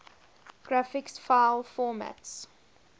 graphics file formats